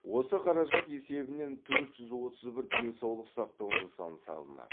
осы қаражат есебінен төрт жүз отыз бір денсаулық сақтау нысан салынады